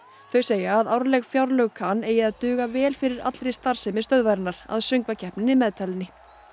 þau segja að árleg fjárlög kan eigi að duga vel fyrir allri starfsemi stöðvarinnar að söngvakeppninni meðtalinni